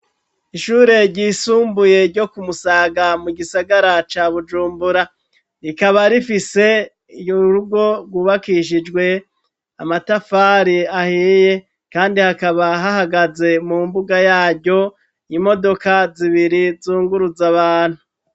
Ishure ryisumbuye ryo ku musaga mu gisagara ca bujumbura rikaba rifise yurugo rwubakishijwe amatafari ahiye kandi hakaba hahagaze mu mbuga yaryo y'imodoka zibiri zunguruza abantu.